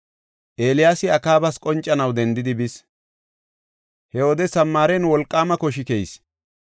Eeliyaasi Akaabas qoncanaw dendidi bis. He wode Samaaren wolqaama koshi keyis.